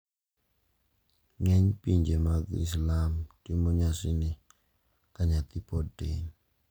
Ng`eny pinje mag Islam timo nyasini kanyathi pod tin.